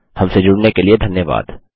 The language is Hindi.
हमसे जुड़ने के लिए धन्यवाद